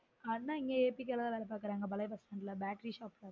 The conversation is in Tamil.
அண்னன் இங்க electrical அ வேல பாக்குறாங்க பழய bus stand battery shop ல